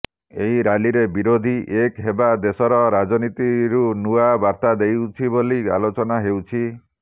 ଏହି ରାଲିରେ ବିରୋଧୀ ଏକ ହେବା ଦେଶର ରାଜନୀତିରୁ ନୂଆ ବାର୍ତ୍ତା ଦେଉଛି ବୋଲି ଆଲୋଚନା ହେଉଛି